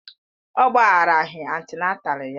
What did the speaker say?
Ọ gbagharaghị antịnátál ya